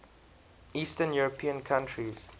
eastern european countries